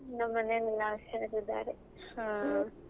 ನಮ್ ಮನೇಲೆಲ್ಲ ಹುಷಾರಾಗಿದ್ದಾರೆ.